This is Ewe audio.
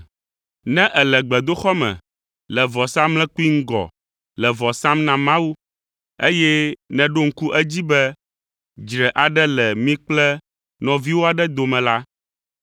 “Ne èle gbedoxɔ me le vɔsamlekpui ŋgɔ le vɔ sam na Mawu, eye nèɖo ŋku edzi be dzre aɖe le mi kple nɔviwò aɖe dome la,